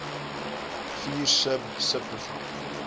vier sub subprogramme